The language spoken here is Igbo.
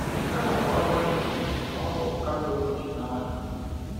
Nke a bụ n’agbanyeghị na ọ bụ Katọlik n’aha.